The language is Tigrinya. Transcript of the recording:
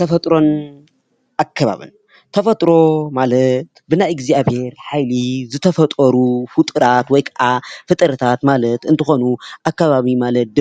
ተፈጥሮን ኣከባብን ተፈጥሮ ማለት ብናይ እግዚኣቢሄር ሓይሊ ዝተፈጠሩ ፍጡራት ወይ ከኣ ፍጥረታት ማለት እንትኮኑ ኣከባቢ ማለት